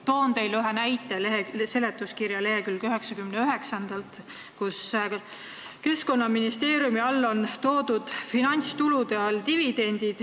Toon teile ühe näite seletuskirja leheküljelt 99, kus on toodud Keskkonnaministeeriumi valitsemisala finantstulude hulka kuuluvad dividendid.